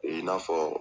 I n'a fɔ